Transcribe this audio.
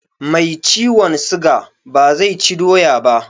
Mai ciwon siga ba zai ci doya ba